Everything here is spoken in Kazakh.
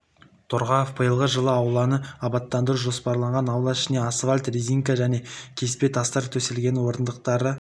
торғаев биылғы жылы ауланы абаттандыру жоспарланғанын аула ішіне асфальт резинка және кеспе тастар төселгенін орындықтар